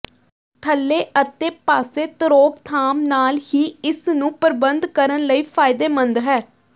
ਥੱਲੇ ਅਤੇ ਪਾਸੇ ਤਰੋਕਥਾਮ ਨਾਲ ਹੀ ਇਸ ਨੂੰ ਪ੍ਰਬੰਧ ਕਰਨ ਲਈ ਫਾਇਦੇਮੰਦ ਹੈ